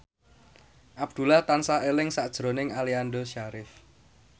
Abdullah tansah eling sakjroning Aliando Syarif